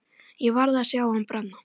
Ég varð að sjá hann brenna.